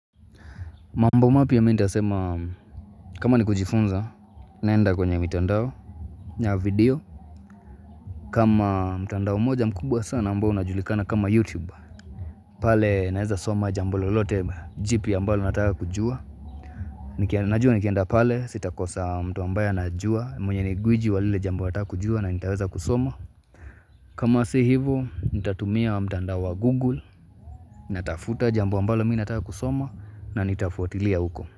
Mambo mapya mi nitasema kama ni kujifunza naenda kwenye mitandao na video kama mtandao moja mkubwa sana ambao unajulikana kama YouTube pale naeza soma jambo lolote jipya ambalo nataka kujua Najua nikenda pale sitakosa mtu ambaye anajua mwenye ni gwiji wa lile jambo nataka kujua na nitaweza kusoma kama si hivo nitatumia wa mtandao wa Google na tafuta jambo ambalo mi nataka kusoma na nitafuatilia uko.